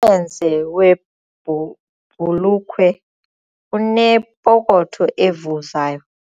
mlenze webhu webhulukhwe unepokotho evuzayo.